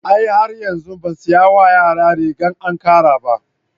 A'a har yanzu ban saya wa yaran rigar ankara ba.